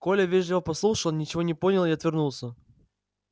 коля вежливо послушал ничего не понял и отвернулся